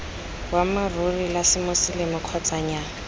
boammaaruri la semoseleme kgotsa nnyaa